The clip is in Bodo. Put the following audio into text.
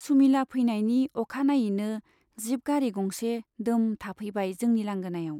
सुमिला फैनायनि अखानायैनो जीप गारि गंसे दोम थाफैबाय जोंनि लांगोनायाव।